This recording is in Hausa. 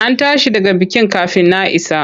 An tashi daga bikin kafin na isa.